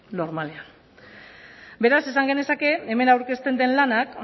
normalean beraz esan genezake hemen aurkezten den lanak